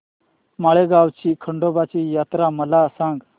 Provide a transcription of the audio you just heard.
माळेगाव ची खंडोबाची यात्रा मला सांग